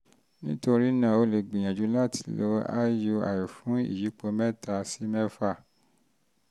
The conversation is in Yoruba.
nítorí náà o lè gbìyànjú láti láti lo iui fún ìyípo mẹ́ta sí mẹ́fà